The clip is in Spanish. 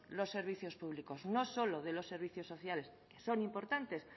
los servicios públicos no solo de los servicios sociales son importantes